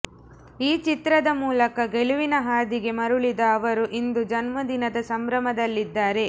ಈ ಚಿತ್ರದ ಮೂಲಕ ಗೆಲುವಿನ ಹಾದಿಗೆ ಮರುಳಿದ ಅವರು ಇಂದು ಜನುಮದಿನದ ಸಂಭ್ರಮದಲ್ಲಿದ್ದಾರೆ